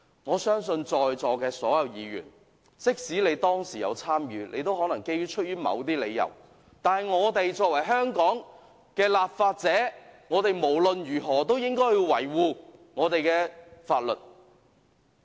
我相信在座所有議員，即使他們當時有參與佔中，也可能是基於某些理由，但我們作為香港的立法者，無論如何都應該維護我們的法律。